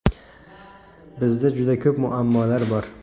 Bizda juda ko‘p muammolar bor.